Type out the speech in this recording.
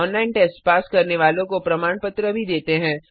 online test pass करने वालों को प्रमाण पत्र भी देते हैं